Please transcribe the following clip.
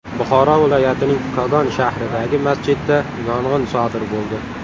Buxoro viloyatining Kogon shahridagi masjidda yong‘in sodir bo‘ldi.